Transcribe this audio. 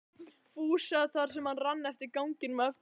Fúsa þar sem hann rann eftir ganginum á eftir Lillu.